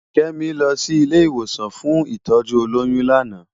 Kemi lò si ilé iwósàn fún itòjú ólóyùn làná